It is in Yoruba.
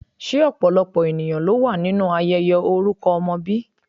Se opolopo eniyan lo wa ninu ayeye oruko omo bi?